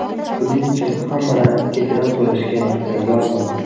Buning uchun hammadan kechirim so‘rashga tayyorman.